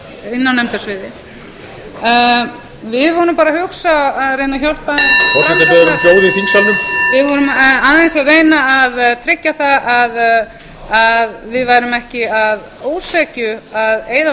inni á nefndasviði við vorum bara að hugsa að reyna að hjálpa forseti biður um hljóð í þingsalnumvið vorum aðeins að reyna að tryggja það að við værum ekki að ósekju að eyða